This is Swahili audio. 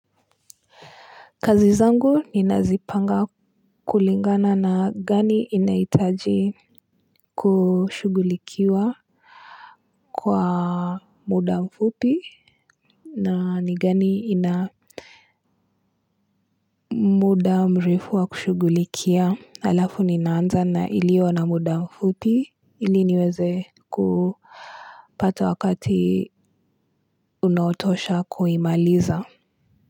Kazi zangu ninazipanga kulingana na gani inahitaji kushugulikiwa kwa muda mfupi na ni gani ina muda mrefu wa kushugulikia alafu ninaanza na ilio na muda mfupi ili niweze kupata wakati unaotosha kuimaliza.